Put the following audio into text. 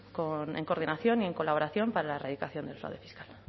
en coordinación y en colaboración para la erradicación del fraude fiscal